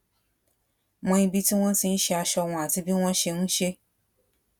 mọ ibi tí wón ti ń ṣe aṣọ wọn àti bí wón ṣe ń ṣe é